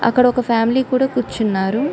అక్కడ ఒక ఫ్యామిలీ కూడా కూర్చున్నారు.